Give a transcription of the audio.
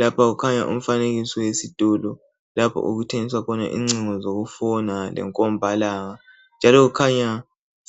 Lapha kukhanya umfanekiso wesitolo lapho okuthengiswa khona incingo zokufona lenkombalanga njalo kukhanya